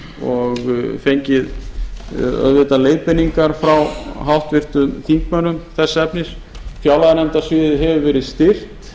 og fengið auðvitað leiðbeiningar frá háttvirtum þingmönnum þess efnis fjárlaganefndarsviðið hefur verið styrkt